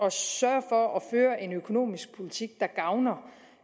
at sørge for at føre en økonomisk politik der gavner